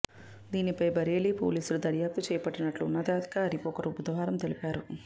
దీనిపై బరేలీ పోలీసులు దర్యాప్తు చేపట్టినట్లు ఉన్నతాధికారి ఒకరు బుధవారం తెలిపారు